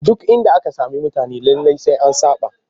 Duk inda aka sami mutane lallai sai an saɓa